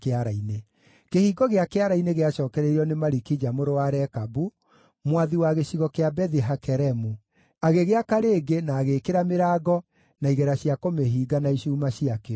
Kĩhingo gĩa Kĩara-inĩ gĩacookereirio nĩ Malikija mũrũ wa Rekabu, mwathi wa gĩcigo kĩa Bethi-Hakeremu. Agĩgĩaka rĩngĩ na agĩĩkĩra mĩrango, na igera cia kũmĩhinga na icuuma ciakĩo.